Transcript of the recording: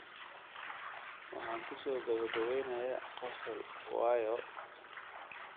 Waxaan ku soo gabagabeynayaa qosol waayo?